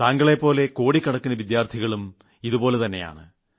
താങ്കളെപ്പോലെ കോടിക്കണക്കിന് വിദ്യാർത്ഥികളും ഇത് പോലെ തന്നെയാണ്